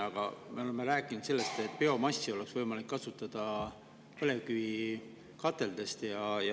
Aga me oleme rääkinud sellest, et põlevkivikateldes oleks võimalik kasutada biomassi.